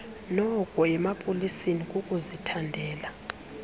noku emapoliseni kukuzithandela